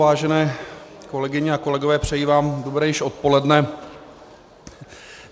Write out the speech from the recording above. Vážené kolegyně a kolegové, přeji vám dobré již odpoledne.